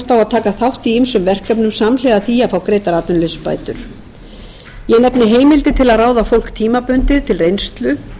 taka þátt í ýmsum verkefnum samhliða því að fá greiddar atvinnuleysisbætur ég nefni heimildir til að ráða fólk tímabundið til reynslu